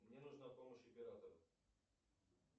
мне нужна помощь оператора